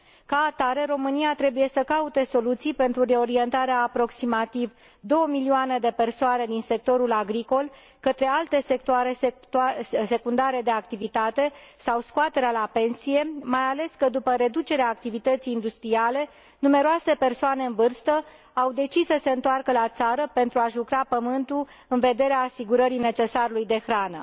Ca atare, România trebuie să caute soluții pentru reorientarea a aproximativ două milioane de persoane din sectorul agricol către alte sectoare secundare de activitate sau scoaterea la pensie, mai ales că, după reducerea activității industriale, numeroase persoane în vârstă au decis să se întoarcă la țară pentru a și lucra pământul în vederea asigurării necesarului de hrană.